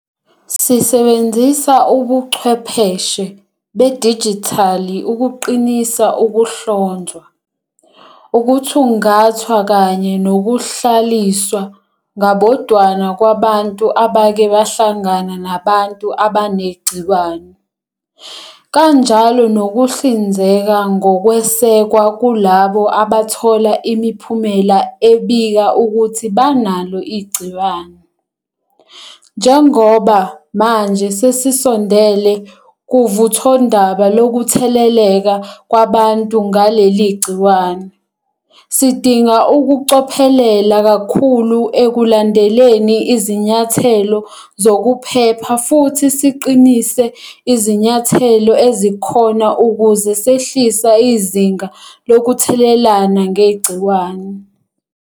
Sisebenzisa ubuchwepheshe bedijithali ukuqinisa ukuhlonzwa, ukuthungathwa kanye nokuhlaliswa ngabodwana kwabantu abake bahlangana nabantu abanegciwane, kanjalo nokuhlinzeka ngokwesekwa kulabo abathola imiphumela ebika ukuthi banalo igciwane. Njengoba manje sesisondele kuvuthondaba lokutheleleka kwabantu ngaleli gciwane, sidinga ukucophelela kakhulu ekulandeleni izinyathelo zokuphepha futhi siqinise izinyathelo ezikhona ukuze sehlisa izinga lokuthelelana ngegciwane.